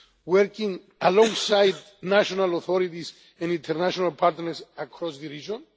now, working alongside national authorities and international partners across the